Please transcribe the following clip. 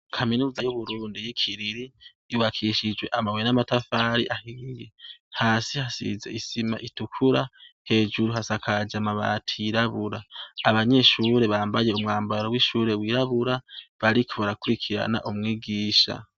Kaminuza y'Uburundi y'i Kiriri yubakishijwe amabuye n'amatafari ahiye. Hasi hasize isima itukura, hejuru hasakaje amabati yirabura. Abanyeshure bambaye umwambaro w'ishure wirabura, bariko barakurikirana umwigisha.